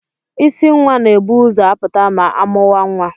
Isi nwa na-ebu ụzọ apụta ma amụea nwa.